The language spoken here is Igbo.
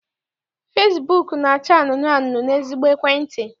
Fesibuuku na-acha anunuu n'ezigbo ekwentị.